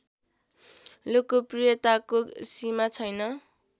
लोकप्रियताको सिमा छैन